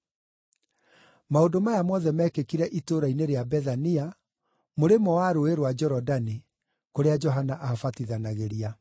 Maũndũ maya mothe mekĩkire itũũra-inĩ rĩa Bethania, mũrĩmo wa Rũũĩ rwa Jorodani, kũrĩa Johana aabatithanagĩria.